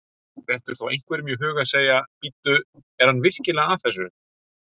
Dettur þá einhverjum í hug að segja: Bíddu, er hann virkilega að þessu?